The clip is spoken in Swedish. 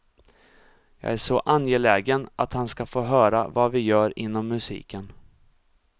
Jag är så angelägen att han ska få höra vad vi gör inom musiken.